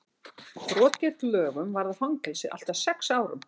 brot gegn lögunum varða fangelsi allt að sex árum